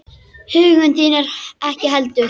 Huggun þín ekki heldur.